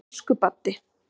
Elsku Baddi.